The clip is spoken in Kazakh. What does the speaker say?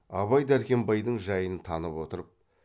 абай дәркембайдың жайын танып отыр